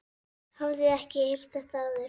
Hafði ekki heyrt þetta áður.